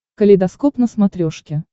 калейдоскоп на смотрешке